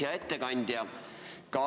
Hea ettekandja!